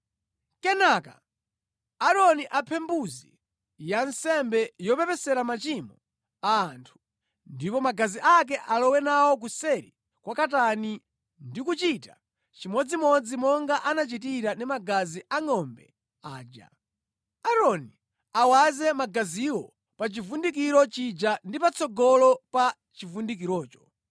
“Kenaka Aaroni aphe mbuzi ya nsembe yopepesera machimo a anthu, ndipo magazi ake alowe nawo kuseri kwa katani ndi kuchita chimodzimodzi monga anachitira ndi magazi a ngʼombe aja: Aaroni awaze magaziwo pa chivundikiro chija ndi patsogolo pa chivundikirocho.